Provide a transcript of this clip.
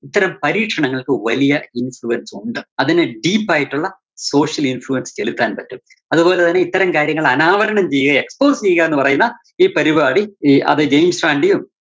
അത്തരം പരീക്ഷണങ്ങള്‍ക്ക് വലിയ influence ഒണ്ട്. അതിന് deep ആയിട്ടൊള്ള social influence ചെലുത്താന്‍ പറ്റും. അതുപോലെ തന്നെ ഇനി ഇത്തരം കാര്യങ്ങള് അനാവരണം ചെയ്യെ expose ചെയ്യുക എന്നുപറയുന്ന ഈ പരിപാടി ഈ അത് ന്റെയും